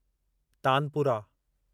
tanpura